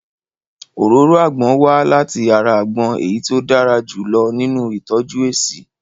Òróró àgbon wá láti ara àgbon èyí tí ó dára jù lọ nínu ìtọ́jú èéṣí